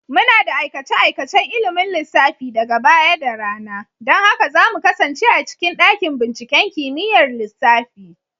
Muna da aikace-aikacen ilimin lissafi daga baya da rana. Don haka za mu kasance a cikin dakin binciken kimiyyar lissafi.